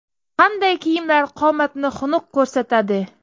Qanday kiyimlar qomatni xunuk ko‘rsatadi?.